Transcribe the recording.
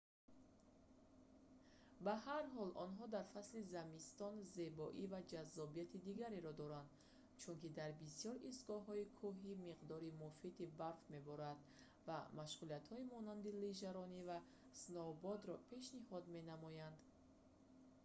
ба ҳар ҳол онҳо дар фасли зимистон зебоӣ ва ҷаззобияти дигареро доранд чунки дар бисёр истгоҳҳои кӯҳӣ миқдори муфиди барф меборад ва машғулиятҳои монанди лижаронӣ ва сноубордро пешниҳод менамоянд